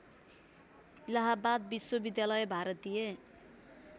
इलाहाबाद विश्वविद्यालय भारतीय